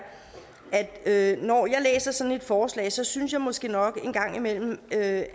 at når jeg læser sådan et forslag synes synes jeg måske nok en gang imellem at